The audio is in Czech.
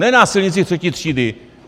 Ne na silnici třetí třídy!